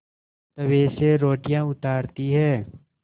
तवे से रोटियाँ उतारती हैं